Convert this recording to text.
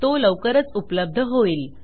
तो लवकरच उपलब्ध होईल